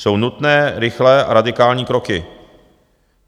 Jsou nutné, rychlé a radikální kroky.